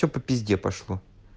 все по пизде пошло